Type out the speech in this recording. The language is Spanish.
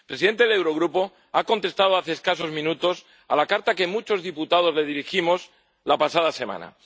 El presidente del Eurogrupo ha contestado hace escasos minutos a la carta que muchos diputados le dirigimos la pasada semana.